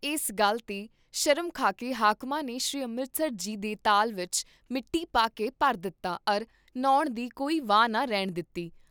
ਇਸ ਗੱਲ ਤੇ ਸ਼ਰਮ ਖਾ ਕੇ ਹਾਕਮਾਂ ਨੇ ਸ੍ਰੀ ਅੰਮ੍ਰਿਤਸਰ ਜੀ ਦੇ ਤਾਲ ਵਿਚ ਮਿੱਟੀ ਪਾ ਕੇ ਭਰ ਦਿੱਤਾ ਅਰ ਨ੍ਹਾਉਣ ਦੀ ਕੋਈ ਵਾਹ ਨਾ ਰਹਿਣ ਦਿੱਤੀ।